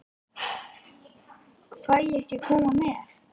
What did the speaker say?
Fæ ég ekki að koma með?